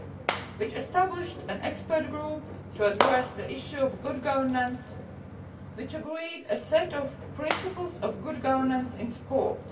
It established an expert group to address the issue of good governance, which agreed a set of Principles of Good Governance in Sport'.